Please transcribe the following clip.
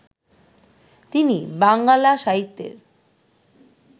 তিনি বাঙ্গালা সাহিত্যের